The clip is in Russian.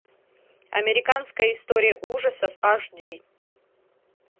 американская история ужасов аш ди